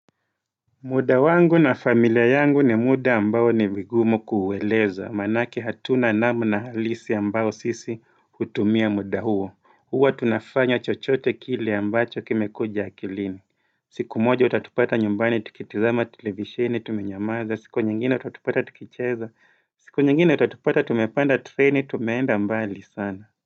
Muda wangu na familia yangu ni muda ambao ni vigumo kueleza manaki hatuna namna halisi ambao sisi kutumia muda huo huwa tunafanya chochote kili ambacho kime kuja kilini siku moja utatupata nyumbani tukitizama televishini tumenyamaza siku nyingine utatupata tukicheza siku nyingine utatupata tumepanda treni tumeenda mbali sana.